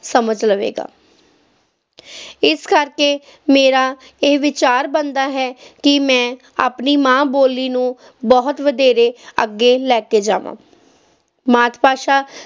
ਸਮਝ ਲਵੇਗਾ ਇਸ ਕਰਕੇ ਮੇਰਾ ਇਹ ਵਿਚਾਰ ਬਣਦਾ ਹੈ ਕਿ ਮੈਂ ਆਪਣੀ ਮਾਂ ਬੋਲੀ ਨੂੰ ਬਹੁਤ ਵਧੇਰੇ ਅੱਗੇ ਲੈ ਕੇ ਜਾਵਾਂ ਮਾਤ ਭਾਸ਼ਾ